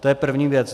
To je první věc.